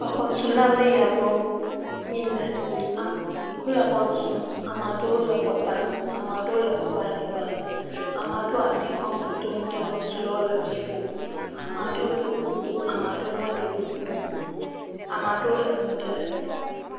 Exɔtulawoe ya gbɔ míle am..wole xɔ tum ame aɖewo le xɔ tame, ame aɖewo le xɔ ƒe anyigba me, ame aɖewo le ati kɔm dodom ɖe xɔtulawo le dziƒo, ame aɖewo ɖo kuku ame aɖewo meɖo kuku o, ame aɖewo lé nu ɖe asi.